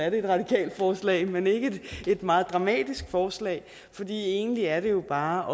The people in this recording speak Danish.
et radikalt forslag men ikke et meget dramatisk forslag for egentlig er det jo bare